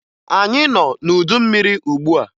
Anyị nọ n'udu mmiri ugbua.